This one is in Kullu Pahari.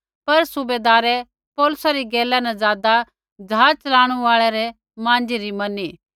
पर सूबैदारै पौलुसै री गैला न ज़ादा ज़हाज़ च़लाणू आल़ै माँझी री मैनी